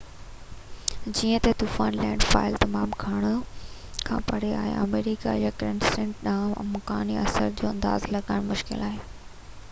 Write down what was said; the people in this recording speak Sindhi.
جيئن ته طوفان لينڊ فال تمام گهڻو کان پري آهي آمريڪا يا ڪيريبين ڏانهن امڪاني اثر جو اندازو لڳائڻ مشڪل آهي